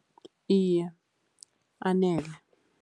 Iye, anele.